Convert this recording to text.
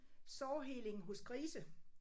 Sårheling hos grise